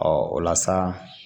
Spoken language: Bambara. Ɔ o la sa